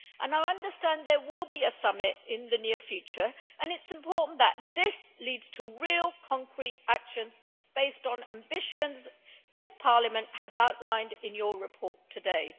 I understand there will be a summit in the near future, and it is important that this leads to real concrete actions based on ambitions this Parliament has outlined in your report today.